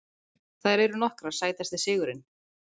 Þær eru nokkrar Sætasti sigurinn?